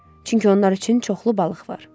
Çünki onlar üçün çoxlu balıq var.